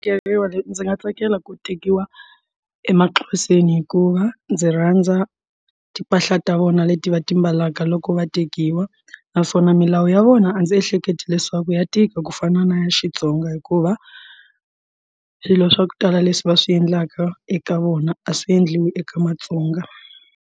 Keriwa leti ndzi nga tsakela ku tekiwa emaxhoseni hikuva ndzi rhandza timpahla ta vona leti va ti mbalaka loko va tekiwa naswona milawu ya vona vona a ndzi ehleketa leswaku ya tika ku fana na Xitsonga hikuva swilo swa ku tala leswi va swi endlaka eka vona a swi endliwi eka matsonga.